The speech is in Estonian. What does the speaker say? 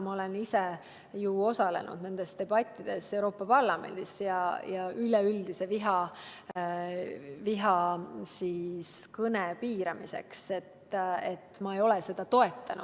Ma olen ise ju osalenud nendel Euroopa Parlamendis peetud debattidel üleüldise vihakõne piiramiseks ja ma ei ole seda toetanud.